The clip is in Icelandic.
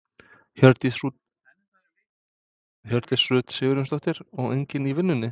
Hjördís Rut Sigurjónsdóttir: Og enginn í vinnunni?